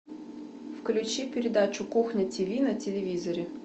включи передачу кухня тв на телевизоре